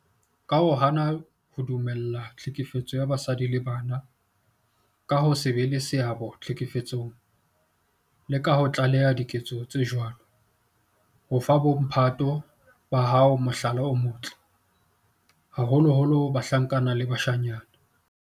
Ka ho hana ho dumella tlhekefetso ya basadi le bana, ka ho se be le seabo tlhekefetsong le ka ho tlaleha diketso tse jwalo, o fa bo mphato ba hao mohlala o motle, haholoholo bahlankana le bashanyana.